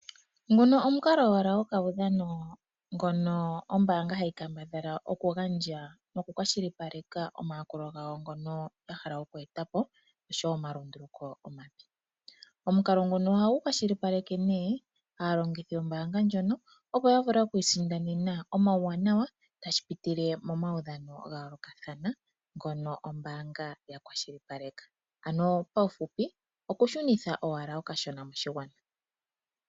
Nguno omukalo owala gokaudhano ngono ombaanga hayi kambadhala okugandja nokukwashilipaleka omayakulo gawo ngono ya hala oku eta po nosho wo omalunduluko omanene. Omukalo nguno ohagu kwashilipaleke nee aalongithi yombaanga ndjono, opo ya vule oku isindanena omauwanawa tashi pitile momaudhano ga yoolokathana ngono ombaanga ya kwashilipaleka. Ano paufupi okushunitha owala okashona moshigwana.